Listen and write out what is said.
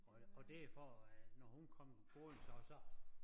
Og og det er for at når hun kom gående så så